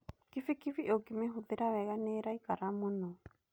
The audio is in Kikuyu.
Kibikibi ũngĩmĩhũthĩra wega nĩ ĩraikara mũno.